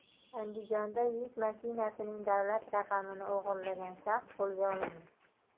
Andijonda yuk mashinasining davlat raqamini o‘g‘irlagan shaxs qo‘lga olindi.